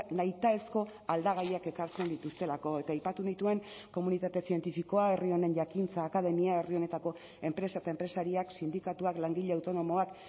nahitaezko aldagaiak ekartzen dituztelako eta aipatu nituen komunitate zientifikoa herri honen jakintza akademia herri honetako enpresa eta enpresariak sindikatuak langile autonomoak